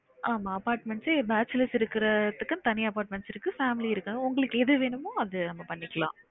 ஆமா apartments bachelor இருக்குறதுக்கு தனி apartment இருக்கு family இருக்குரத்துக்கு உங்களுக்கு எது வேணுமோ அது அங்க பண்ணிக்கலாம்